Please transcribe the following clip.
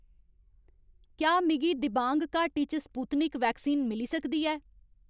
क्या मिगी दिबांग घाटी च स्पुत्निक वैक्सीन मिली सकदी ऐ